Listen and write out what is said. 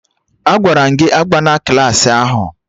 Agwara m gị abana Klassị ahụ!